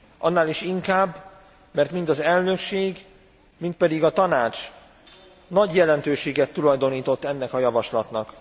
Annál is inkább, mert mind az elnökség, mind pedig a Tanács nagy jelentőséget tulajdonított ennek a javaslatnak.